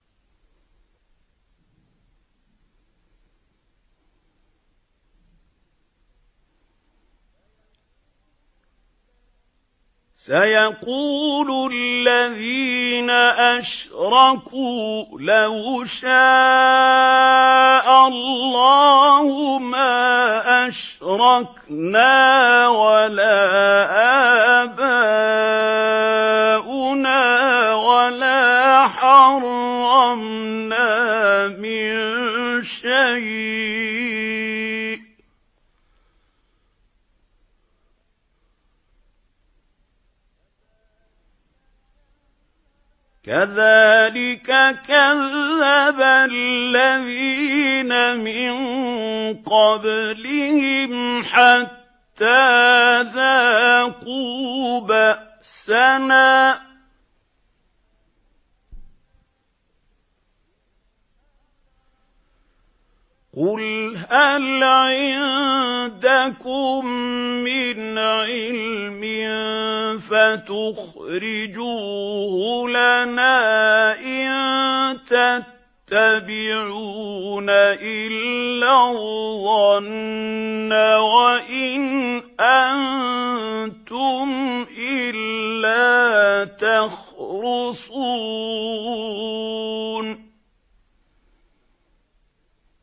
سَيَقُولُ الَّذِينَ أَشْرَكُوا لَوْ شَاءَ اللَّهُ مَا أَشْرَكْنَا وَلَا آبَاؤُنَا وَلَا حَرَّمْنَا مِن شَيْءٍ ۚ كَذَٰلِكَ كَذَّبَ الَّذِينَ مِن قَبْلِهِمْ حَتَّىٰ ذَاقُوا بَأْسَنَا ۗ قُلْ هَلْ عِندَكُم مِّنْ عِلْمٍ فَتُخْرِجُوهُ لَنَا ۖ إِن تَتَّبِعُونَ إِلَّا الظَّنَّ وَإِنْ أَنتُمْ إِلَّا تَخْرُصُونَ